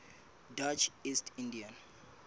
dutch east india